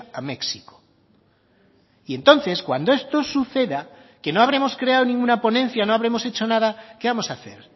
a méxico y entonces cuando esto suceda que no habremos creado ninguna ponencia no habremos hecho nada qué vamos a hacer